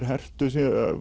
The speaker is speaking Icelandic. hertu